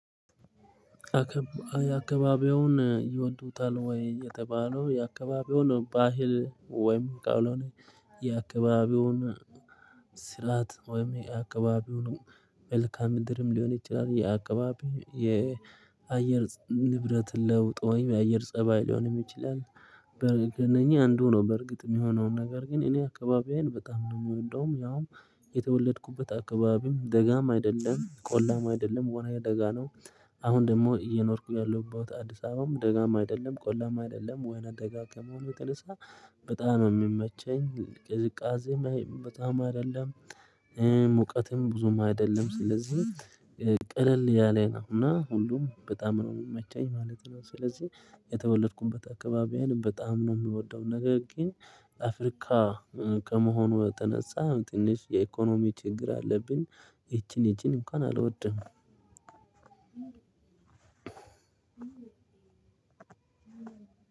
አካባቢውን ይወዱታል ወይ? የተባለው የአካባቢውን ባህል ወይም ቃሎን የአካባቢውን ስላት ወይም የአካባቢውን መልካም ምድርም ሊሆን ይችላል የአካባቢ የአየር ንብረት ለውጥ ወይም የአየር ፀባይ ሊሆን ይችላል። በእነኚህ አንዱ ነው በእርግጥ የሚሆነውን ነገር ግን እኔ አካባቢዬን በጣም ነው የምወደው እንደውም ያውም የተወለድኩበት አካባቢም ደጋም አይደለም ቆላም አይደለም ወና ደጋ ነው። አሁን ደግሞ እየኖርኩ ያለሁባት አዲስ አበባም ደጋም አይደለም ቆላም አይደለም ወይና ደጋግሞ በቅርሳ በጣም የሚመቸኝ ቅዝቃዜም በጣም አይደለም። ሙቀትም ብዙም አይደለም ስለዚህ ቀለል ያለ ነው እና ሁሉም በጣም ነው የሚመኝ ማለት ነው። ስለዚህ የተወለድኩበት አካባቢዬን በጣም ነው የምወደው። ነገር ግን አፍሪካ ከመሆኑ የተነሳ ትንሽ የኢኮኖሚ ችግር አለብን። ይቺን ይቺን እንኳን አልወድም።